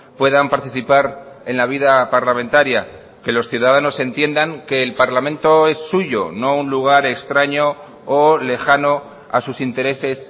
puedan participar en la vida parlamentaria que los ciudadanos entiendan que el parlamento es suyo no un lugar extraño o lejano a sus intereses